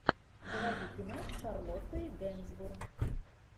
заводи кино с шарлоттой генсбур